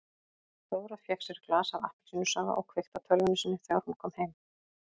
Dóra fékk sér glas af appelsínusafa og kveikti á tölvunni sinni þegar hún kom heim.